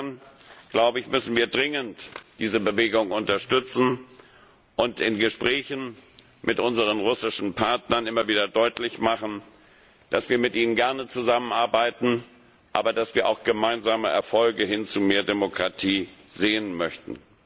Insofern müssen wir dringend diese Bewegung unterstützen und in Gesprächen mit unseren russischen Partnern immer wieder deutlich machen, dass wir gerne mit ihnen zusammenarbeiten, aber dass wir auch gemeinsame Erfolge hin zu mehr Demokratie sehen möchten.